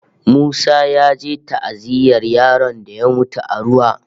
Musa ya je ta'aziyyar yaron da ya mutu a ruwa